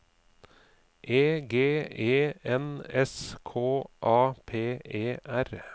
E G E N S K A P E R